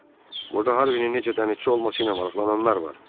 "Ata, burada Harvinin necə dənizçi olması ilə maraqlananlar var."